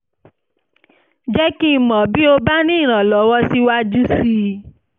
jẹ́ kí n mọ̀ bí o bá ní ìrànlọ́wọ́ síwájú sí i